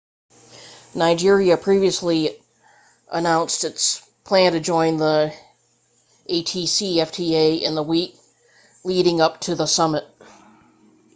nigeria previously announced it planned to join the afcfta in the week leading up to the summit